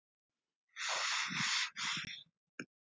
Þú misstir ekki úr dag.